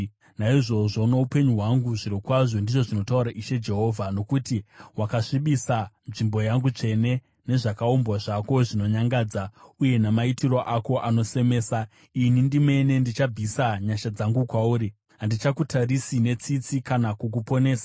Naizvozvo noupenyu hwangu zvirokwazvo, ndizvo zvinotaura Ishe Jehovha, nokuti wakasvibisa nzvimbo yangu tsvene nezvakaumbwa zvako zvinonyangadza uye namaitiro ako anosemesa, ini ndimene ndichabvisa nyasha dzangu kwauri handichakutarisi netsitsi kana kukuponesa.